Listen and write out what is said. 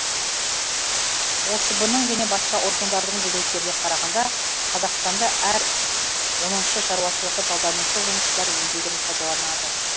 осб ның және басқа органдардың деректеріне қарағанда қазақстанда әр оныншы шаруашылығы жалданушы жұмысшылар еңбегін пайдаланды